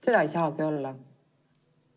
Seda ei saagi olla.